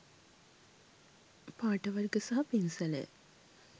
පාට වර්ග සහ පින්සලය